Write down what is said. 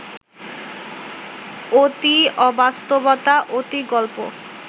অতি অবাস্তবতা, অতি গল্প